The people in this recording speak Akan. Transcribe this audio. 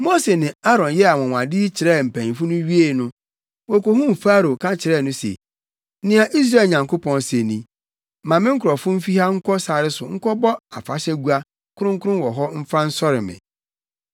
Mose ne Aaron yɛɛ anwonwade yi kyerɛɛ mpanyimfo no wiee no, wokohuu Farao ka kyerɛɛ no se, “Nea Israel Nyankopɔn se ni, ‘Ma me nkurɔfo mfi ha nkɔ sare so nkɔbɔ afahyɛgua kronkron wɔ hɔ mfa nsɔre me.’ ”